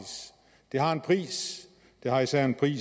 det har en pris det har især en pris